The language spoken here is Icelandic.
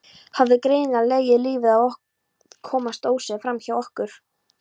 Hafði greinilega legið lífið á að komast óséður framhjá okkur.